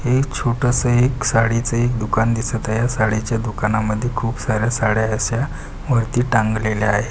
एक छोटा सा एक साडी च एक दुकान दिसत आहे.साडीच्या दुकानामध्ये खूप सार्‍या साड्या अस्या वरती टांगलेले आहे.